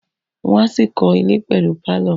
Wọ́n á ṣì kọ́ ilẹ̀ pẹ̀lú pálọ̀